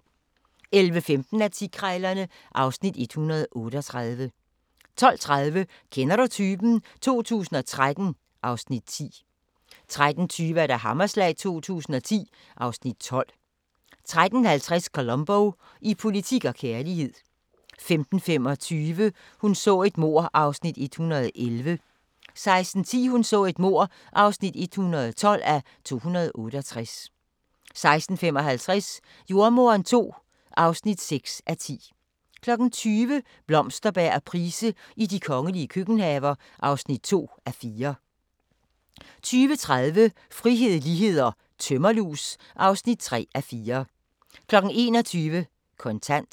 11:15: Antikkrejlerne (Afs. 138) 12:30: Kender du typen? 2013 (Afs. 10) 13:20: Hammerslag 2010 (Afs. 12) 13:50: Columbo: I politik og kærlighed 15:25: Hun så et mord (111:268) 16:10: Hun så et mord (112:268) 16:55: Jordemoderen II (6:10) 20:00: Blomsterberg og Price i de kongelige køkkenhaver (2:4) 20:30: Frihed, lighed & tømmerlus (3:4) 21:00: Kontant